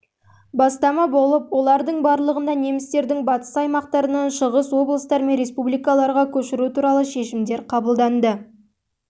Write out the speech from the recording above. бастама болып олардың барлығында немістердің батыс аймақтарынан шығыс облыстар мен республикаларға көшіру туралы шешімдер қабылданды